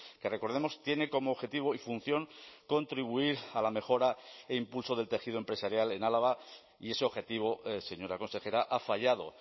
que recordemos tiene como objetivo y función contribuir a la mejora e impulso del tejido empresarial en álava y ese objetivo señora consejera ha fallado